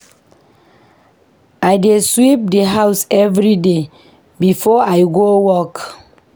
I dey sweep the house everyday before I go work.